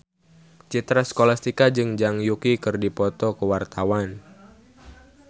Citra Scholastika jeung Zhang Yuqi keur dipoto ku wartawan